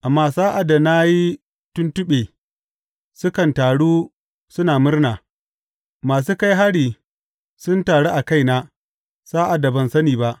Amma sa’ad da na yi tuntuɓe, sukan taru suna murna; masu kai hari sun taru a kaina sa’ad da ban sani ba.